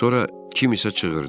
Sonra kim isə çığırdı.